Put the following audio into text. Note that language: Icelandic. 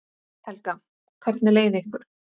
Helga: Hvernig leið ykkur?